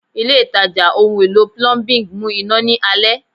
Ile itaja ohun elo Plumbing mu ina ni alẹ